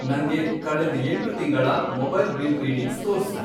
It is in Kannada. ನಂಗೆ ಕಳೆದ್ ಎಂಟು ತಿಂಗಳ ಮೊಬೈಲ್ ಬಿಲ್ ರೀಡಿಂಗ್ಸ್ ತೋರ್ಸು.